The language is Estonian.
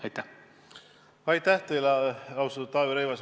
Aitäh teile, austatud Taavi Rõivas!